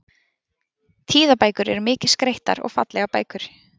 tíðabækur eru mikið skreyttar og fallegar bækur